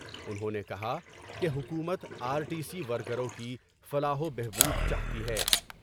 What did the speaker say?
انہوں نے کہا کہ حکومت ، آرٹی سی ورکروں کی فلاح و بہبود چاہتی ہے ۔